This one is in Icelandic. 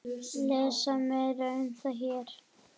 Lesa meira um það hér.